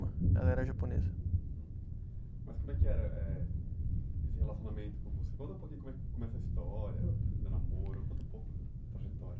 Ela era japonesa. Uhum. Mas como é que era eh esse relacionamento com você? Conta um pouquinho como é, como é essa história do namoro conta um pouco para a gente